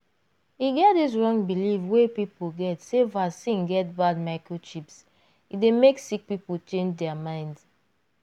e get dis wrong believe wey people get sey vaccine get bad microchips e dey make sick people change dear mind.